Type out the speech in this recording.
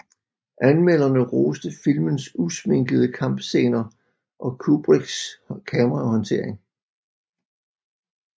Anmelderne roste filmens usminkede kampscener og Kubricks kamerahåndtering